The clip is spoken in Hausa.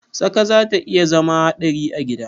Tsaka zata iya zama hadari a gida.